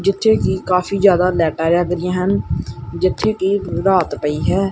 ਜਿੱਥੇ ਕਿ ਕਾਫੀ ਜਿਆਦਾ ਲਾਈਟਾਂ ਜਗ ਰਹੀਆਂ ਹਨ ਜਿੱਥੇ ਕਿ ਰਾਤ ਪਈ ਹੈ।